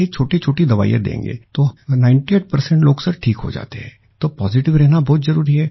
ये छोटीछोटी दवाईया देंगे तो 98 लोग ठीक हो जाते हैं तो पॉजिटिव रहना बहुत जरूरी है